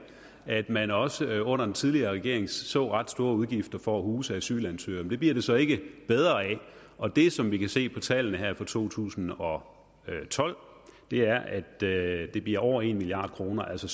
at man også under den tidligere regering så ret store udgifter for at huse asylansøgere men det bliver det så ikke bedre af og det som vi kan se på tallene her fra to tusind og tolv er at det det bliver over en milliard kr altså